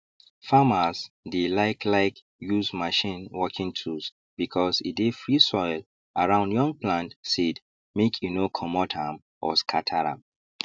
farmers dey like like use machine working tools because e dey free soil around young plant seed make e no comot am or scatter am